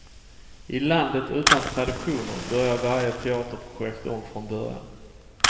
I landet utan traditioner börjar varje teaterprojekt om från början.